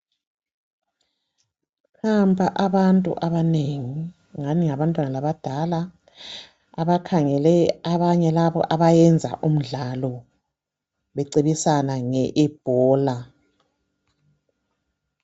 Nampa abantu abanengi, ngani ngabantwana abadala abakhangele laba abagenza imdlalo bencintisana nge ebola.